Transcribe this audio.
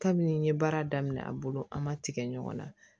Kabini n ye baara daminɛ a bolo an ma tigɛ ɲɔgɔn na